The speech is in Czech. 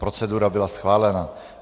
Procedura byla schválena.